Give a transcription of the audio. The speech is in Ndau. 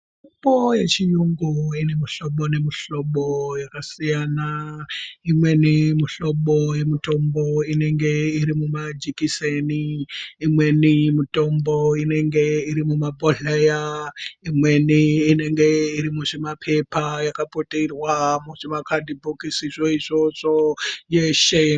Mitombo yechiyungu ine mihlobo nemihlobo yakasiyana. Imweni mihlobo yemitombo inenge iri mumajekiseni. Imweni mitombo inenge iri mumabhodhleya. Imweni inenge iri muzvimapepa yakaputirwa muzvima kadhibhokisi zveizvozvo yeshe.